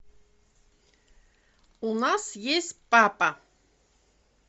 у нас есть папа